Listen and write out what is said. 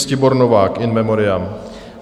Ctibor Novák, in memoriam.